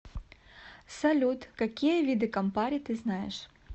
салют какие виды кампари ты знаешь